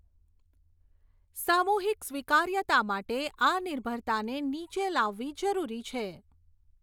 સામૂહિક સ્વીકાર્યતા માટે આ નિર્ભરતાને નીચે લાવવી જરૂરી છે.